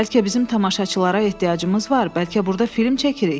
Bəlkə bizim tamaşaçılara ehtiyacımız var, bəlkə burda film çəkirik.